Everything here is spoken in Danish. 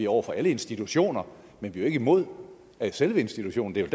over for alle institutioner men vi er ikke imod selve institutionen det er